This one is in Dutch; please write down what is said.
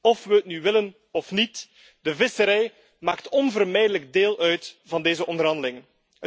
Of we het nu willen of niet, de visserij maakt onvermijdelijk deel uit van deze onderhandelingen.